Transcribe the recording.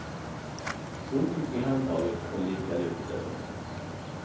Hon tog i handtaget och lirkade upp dörren.